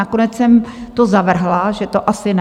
Nakonec jsem to zavrhla, že to asi ne.